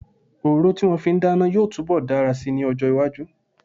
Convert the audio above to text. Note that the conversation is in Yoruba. Òróró tí wọ́n fi ń dáná yóò túnbọ̀ dára si ní ọjọ́-iwájú.